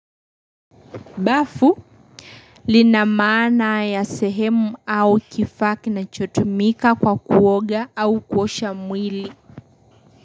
Bafu lina maana ya sehemu au kifaa kinachotumika kwa kuoga au kuosha mwili.